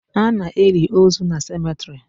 Ana eli ozu na cemetrị